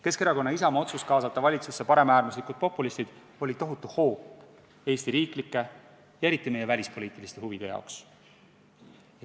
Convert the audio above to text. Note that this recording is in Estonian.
Keskerakonna ja Isamaa otsus kaasata valitsusse paremäärmuslikud populistid oli tohutu hoop Eesti riiklikele ja eriti meie välispoliitilistele huvidele.